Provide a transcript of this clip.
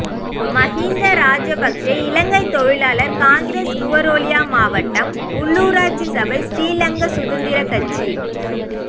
மஹிந்த ராஜபக்ஷ இலங்கை தொழிலாளர் காங்கிரஸ் நுவரெலியா மாவட்டம் உள்ளூராட்சி சபை ஸ்ரீலங்கா சுதந்திர கட்சி